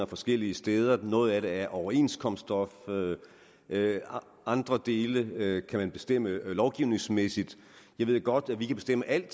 forskellige steder noget af det er overenskomststof og andre dele kan man bestemme lovgivningsmæssigt jeg ved godt at vi kan bestemme alt